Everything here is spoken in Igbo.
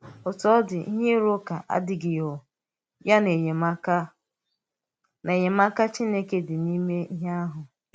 Òtú ọ̀ dị̀, íhè ịrụ̀ ụ̀ká àdíghị̀ um ya na enyémàká na enyémàká Chínēké dị n’ímè íhè àhụ̀.